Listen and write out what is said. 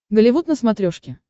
голливуд на смотрешке